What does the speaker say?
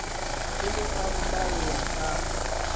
o ne a mmalla ka